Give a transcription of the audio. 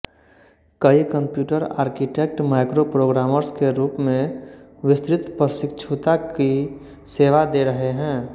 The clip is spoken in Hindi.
कई कंप्यूटर आर्कीटेक माइक्रोप्रोग्रामर्स के रूप में विस्तृत प्रशिक्षुता की सेवा दे रहे हैं